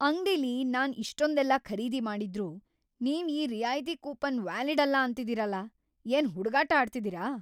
ಅಂಗ್ಡಿಲಿ ನಾನ್ ಇಷ್ಟೊಂದೆಲ್ಲ ಖರೀದಿ ಮಾಡಿದ್ರೂ ನೀವ್ ಈ ರಿಯಾಯ್ತಿ ಕೂಪನ್‌ ವ್ಯಾಲಿಡ್‌ ಅಲ್ಲ ಅಂತಿದೀರಲ! ಏನ್‌ ಹುಡ್ಗಾಟ ಆಡ್ತಿದೀರ?!